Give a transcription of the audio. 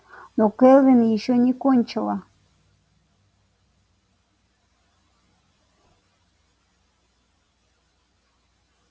но кэлвин ещё не кончила